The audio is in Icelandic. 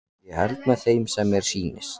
Ég held með þeim sem mér sýnist!